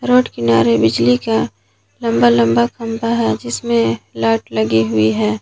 Road किनारे बिजली का लंबा लंबा खंबा है जिसमें लाइट लगी हुई है।